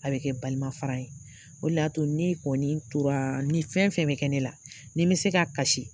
A bɛ kɛ balimafara ye. O de y'a to ne kɔni toraa ni fɛn fɛn bɛ kɛ ne la, ni n bɛ se ka kasi